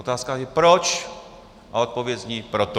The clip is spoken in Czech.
Otázka je "proč?" a odpověď zní proto.